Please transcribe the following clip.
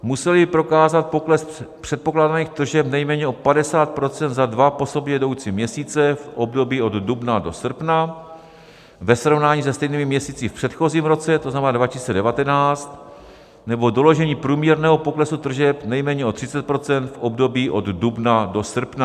Museli prokázat pokles předpokládaných tržeb nejméně o 50 % za dva po sobě jdoucí měsíce v období od dubna do srpna ve srovnání se stejnými měsíci v předchozím roce, to znamená 2019, nebo doložení průměrného poklesu tržeb nejméně o 30 % v období od dubna do srpna.